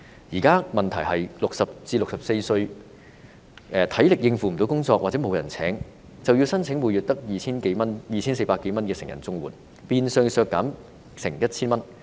現在的問題是 ，60 至64歲的人，如果沒有足夠體力應付工作或沒有人聘請，便須申請每月只有 2,400 多元的成人綜援，金額變相削減接近 1,000 元。